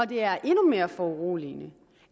det er endnu mere foruroligende